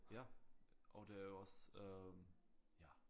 Ja og der er jo også øh ja